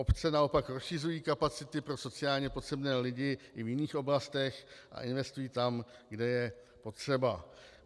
Obce naopak rozšiřují kapacity pro sociálně potřebné lidi i v jiných oblastech a investují tam, kde je potřeba.